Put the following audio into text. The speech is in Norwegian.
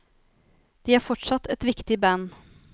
De er fortsatt et viktig band.